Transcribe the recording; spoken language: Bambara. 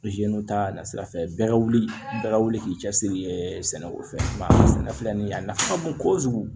ta na sira fɛ bɛɛ ka wuli bɛɛ ka wuli k'i cɛsiri sɛnɛ o fɛ sɛnɛ filɛ nin ye a nafa ka bon kojugu